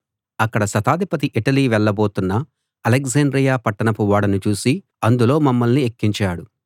అక్కడ శతాధిపతి ఇటలీ వెళ్ళబోతున్న అలెగ్జాండ్రియ పట్టణపు ఓడను చూసి అందులో మమ్మల్ని ఎక్కించాడు